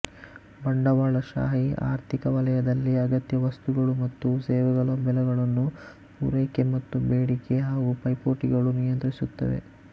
ಬಂಡವಾಳಶಾಹಿ ಆರ್ಥಿಕ ವಲಯದಲ್ಲಿ ಅಗತ್ಯ ವಸ್ತುಗಳು ಮತ್ತು ಸೇವೆಗಳ ಬೆಲೆಗಳನ್ನು ಪೂರೈಕೆ ಮತ್ತು ಬೇಡಿಕೆ ಹಾಗೂ ಪೈಪೋಟಿ ಗಳು ನಿಯಂತ್ರಿಸುತ್ತವೆ